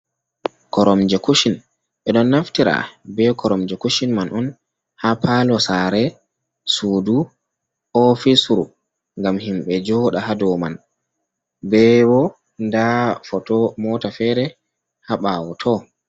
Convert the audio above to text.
Koromje kushin ɓe ɗon naftira, ɓe koromje kushin man on ha palo sare, sudu, ofisru, ngam himɓe joɗa ha dow man, be ɓo nda foto mota fere ha ɓawo tow.